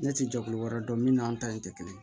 Ne tɛ jɛkulu wɛrɛ dɔn min n'an ta in tɛ kelen ye